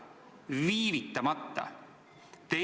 Viivitamata!